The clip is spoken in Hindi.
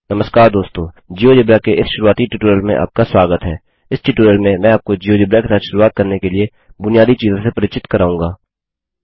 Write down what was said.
नमस्कार दोस्तों जियोजेब्रा के इस शुरुआती ट्यूटोरियल में आपका स्वागत है इस ट्यूटोरियल में मैं आपको जियोजेब्रा के साथ शुरुआत करने के लिए बुनियादी चीजों से परिचित कराऊँगा